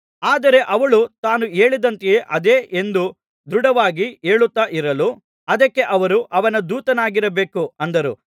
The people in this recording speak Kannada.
ಆದರೆ ಅವಳು ತಾನು ಹೇಳಿದಂತೆಯೇ ಅದೆ ಎಂದು ದೃಢವಾಗಿ ಹೇಳುತ್ತಾ ಇರಲು ಅದಕ್ಕೆ ಅವರು ಅವನ ದೂತನಾಗಿರಬೇಕು ಅಂದರು